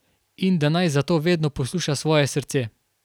In da naj zato vedno posluša svoje srce.